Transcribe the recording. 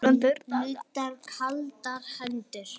Nuddar kaldar hendur.